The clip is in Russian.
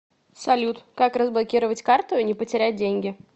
салют как разблокировать карту и не потерять деньги